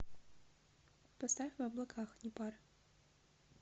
поставь в облаках непары